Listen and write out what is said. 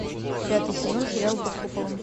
пятый сезон сериал под куполом